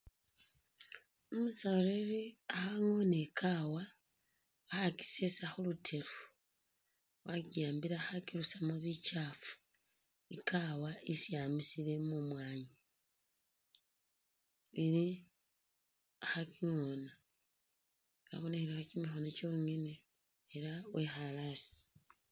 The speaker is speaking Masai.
Umusoleli alikho angona ikawa khakisesa khulutelo wakihambile khakirusamo bikyafu ikawa yesi amisile mumwanyi ili khakingona kabonekhelekho kimikono kyongane ela wikhale hasi